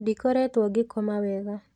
Ndikoretwo ngĩkoma wega.